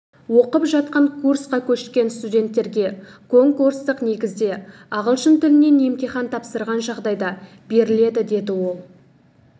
оқып жатқан курсқа көшкен студенттерге конкурстық негізде ағылшын тілінен емтихан тапсырған жағдайда беріледі деді ол